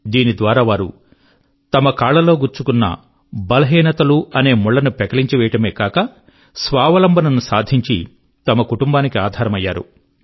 దీని ద్వారా వారు తమ కాళ్ళల్లో గుచ్చుకున్న బలహీనతలనే ముళ్ళను పెకలించివేయడమే గాక స్వావలంబన ను సాధించి తమ కుటుంబానికి ఆధారమయ్యారు